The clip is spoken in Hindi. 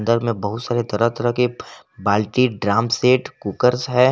अंदर में बहुत सारी तरह तरह के बाल्टी ड्रम सेट कुकर है।